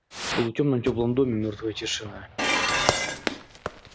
в полутёмном тёплом доме мёртвая тишина